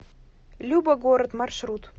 любо город маршрут